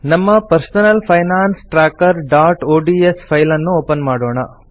ನಮ್ಮ personal finance trackerಒಡಿಎಸ್ file ಅನ್ನು ಓಪನ್ ಮಾಡೋಣ